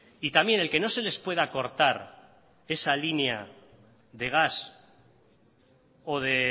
y también el que no se les pueda cortar esa línea de gas o de